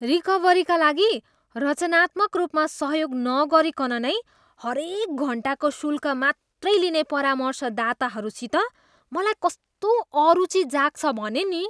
रिकभरीका लागि रचनात्मक रूपमा सहयोग नगरीकन नै हरेक घन्टाको शूल्क मात्रै लिने परामर्शदाताहरूसित त मलाई कस्तो अरूचि जाग्छ भने नि।